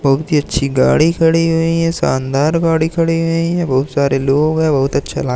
बहुत ही अच्छी गाड़ी खड़ी हुई हैं शानदार गाड़ी खड़ी हुई हैं बहुत सारे लोग हैं बहुत अच्छा ला--